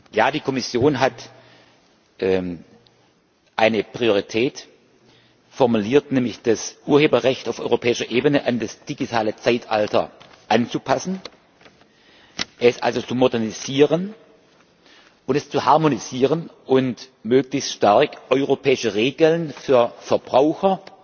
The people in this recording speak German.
Ja, die Kommission hat eine Priorität formuliert, nämlich das Urheberrecht auf europäischer Ebene an das digitale Zeitalter anzupassen, es also zu modernisieren und es zu harmonisieren und möglichst stark europäische Regeln für Verbraucher,